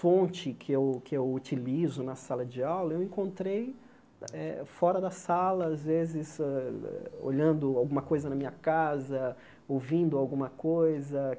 fonte que eu que eu utilizo na sala de aula, eu encontrei eh fora da sala, às vezes, eh eh olhando alguma coisa na minha casa, ouvindo alguma coisa.